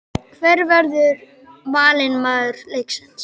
Hver verður valinn maður leiksins?